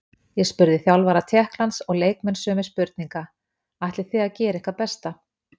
Ég spurði þjálfara Tékklands og leikmenn sömu spurninga: Ætlið þið að gera ykkar besta?